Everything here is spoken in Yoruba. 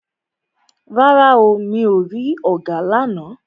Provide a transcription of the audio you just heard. Rárá o, mi ò rí ọ̀gà lána.